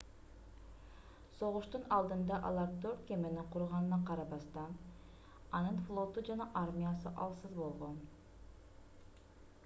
согуштун алдында алар төрт кемени курганына карабастан анын флоту жана армиясы алсыз болгон